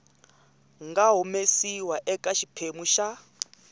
nga humesiwa eka xiphemu xa